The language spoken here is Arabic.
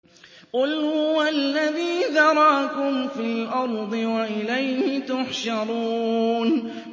قُلْ هُوَ الَّذِي ذَرَأَكُمْ فِي الْأَرْضِ وَإِلَيْهِ تُحْشَرُونَ